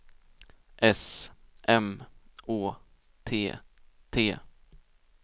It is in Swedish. S M Å T T